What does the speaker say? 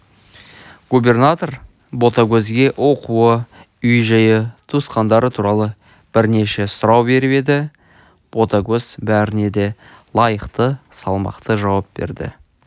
губернатор ботагөзге оқуы үй жайы туысқандары туралы бірнеше сұрау беріп еді ботагөз бәріне де лайықты салмақты жауап берді